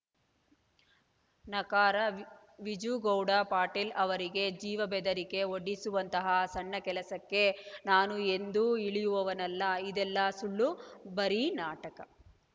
ನಕಾರ V Vijugouda Patil ಅವರಿಗೆ ಜೀವ ಬೆದರಿಕೆ ಒಡ್ಡಿಸುವಂತಹ ಸಣ್ಣ ಕೆಲಸಕ್ಕೆ ನಾನು ಎಂದೂ ಇಳಿಯುವವನಲ್ಲ ಇದೆಲ್ಲಾ ಸುಳ್ಳು ಬರೀ ನಾಟಕ